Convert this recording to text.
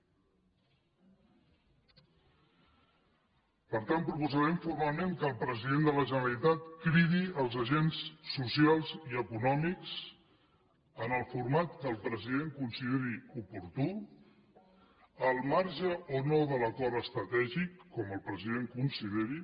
per tant proposarem formalment que el president de la generalitat cridi els agents socials i econòmics en el format que el president consideri oportú al marge o no de l’acord estratègic com el president consideri